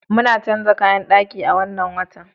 Muna canza kayan daki a wannan watan.